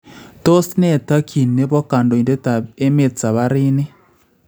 Tos ne takyin nebo kandoindetab emet sabaarini?